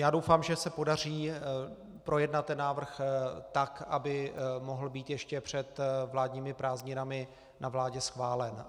Já doufám, že se podaří projednat ten návrh tak, aby mohl být ještě před vládními prázdninami na vládě schválen.